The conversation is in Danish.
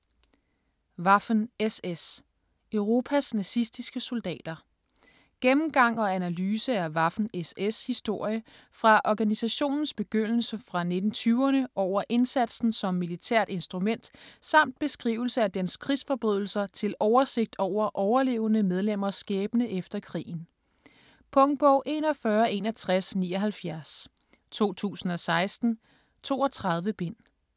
Waffen-SS: Europas nazistiske soldater Gennemgang og analyse af Waffen-SS' historie fra organisationens begyndelse fra 1920'erne over indsatsen som militært instrument samt beskrivelse af dens krigsforbrydelser til oversigt over overlevende medlemmers skæbne efter krigen. Punktbog 416179 2016. 32 bind.